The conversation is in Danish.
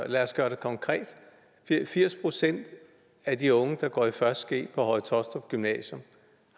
lad os gøre det konkret firs procent af de unge der går i første g på høje taastrup gymnasium